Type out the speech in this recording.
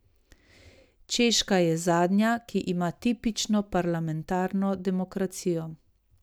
Češka je zadnja, ki ima tipično parlamentarno demokracijo.